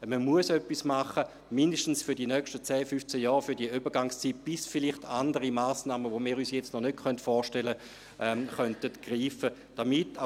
– Man muss etwas tun, mindestens für die nächsten zehn bis fünfzehn Jahre, für diese Übergangszeit, bis vielleicht andere Massnahmen, welche wir uns jetzt noch nicht vorstellen können, greifen könnten.